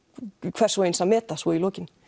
hvers og eins að meta svo í lokin